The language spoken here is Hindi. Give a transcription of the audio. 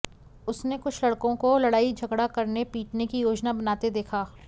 उसने कुछ लड़कों को लड़ाई झगड़ा करने पीटने की योजना बनाते देखा